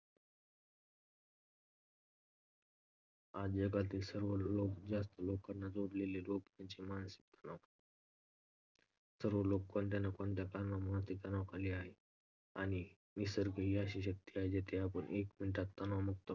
आज जगातील सर्वात जास्त लोकांना जडलेला रोग म्हणजे मानसिक तणाव. सर्व लोक कोणत्या ना कोणत्या कारणामुळे मानसिक तणावाखाली आहेत. आणि निसर्ग हि एक अशी शक्ती आहे जिथे जाऊन आपण एक minute मध्ये तणावमुक्त होऊ शकतो.